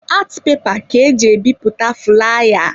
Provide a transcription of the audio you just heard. Art pepa ka-eji ebipụta fulaya.